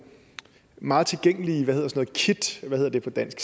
meget tilgængelige kits hvad hedder det på dansk